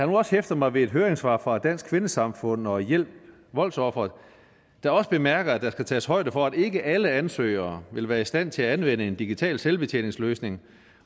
nu også hæftet mig ved høringssvarene fra dansk kvindesamfund og hjælp voldsofre der også bemærker at der skal tages højde for at ikke alle ansøgere vil være i stand til at anvende en digital selvbetjeningsløsning